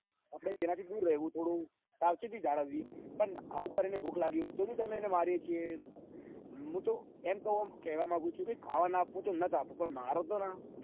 આપડે તેના થી થોડું દૂર રેહેવું થોડું સાવચેતી જાળવવી પણ અમુક વાર એને ભૂખ લાગી હોય તો બી એણે મેરીએ છીએ મુટો એમ કેવા માંગુ છું ખાવા નથ આપવું તો નથ આપવું પણ મારો તો ના